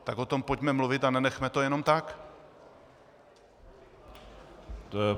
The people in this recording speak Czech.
Tak o tom pojďme mluvit a nenechme to jenom tak.